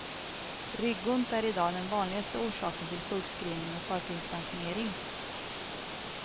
Ryggont är i dag den vanligaste orsaken till sjukskrivning och förtidspensionering.